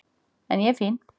En ég er fín.